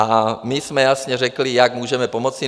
A my jsme jasně řekli, jak můžeme pomoci.